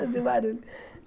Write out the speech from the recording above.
Fazia barulho.